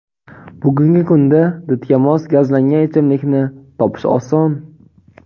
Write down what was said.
Bugungi kunda didga mos gazlangan ichimlikni topish oson.